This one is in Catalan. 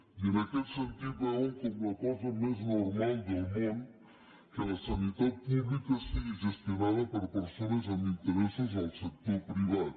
i en aquest sentit veuen com la cosa més normal del món que la sanitat pública sigui gestionada per persones amb interessos en el sector privat